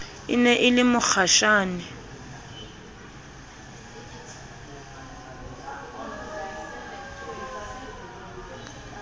e ne e le mokgashane